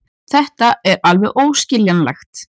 Þetta er alveg óskiljanlegt.